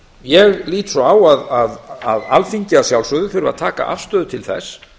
ég lít svo á að alþingi að sjálfsögðu þurfi að taka afstöðu til þess